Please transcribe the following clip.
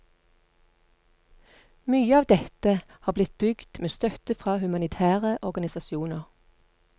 Mye av dette har blitt bygd med støtte fra humanitære organisasjoner.